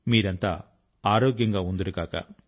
మీరంతా ఆరోగ్యం గా ఉందురుగాక